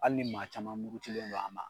Hali ni maa caman murutilen don a ma